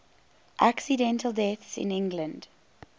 accidental deaths in england